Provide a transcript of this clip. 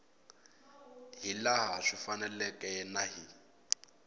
hilaha swi faneleke na hi